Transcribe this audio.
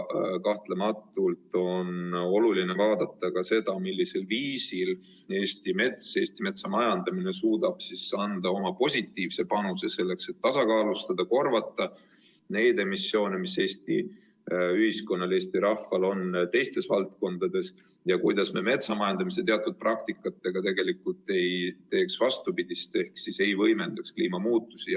Kahtlemata on oluline vaadata ka seda, millisel viisil Eesti mets ja Eesti metsamajandamine suudavad anda oma positiivse panuse, selleks et tasakaalustada ja korvata neid emissioone, mis Eesti ühiskonnal, Eesti rahval on teistes valdkondades, ja et me metsamajandamise teatud praktikatega tegelikult ei teeks vastupidist ehk ei võimendaks kliimamuutusi.